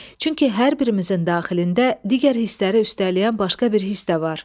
Çünki hər birimizin daxilində digər hissləri üstələyən başqa bir hiss də var.